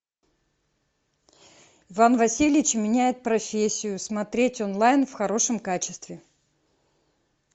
иван васильевич меняет профессию смотреть онлайн в хорошем качестве